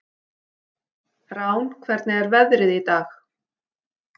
Rán, hvernig er veðrið í dag?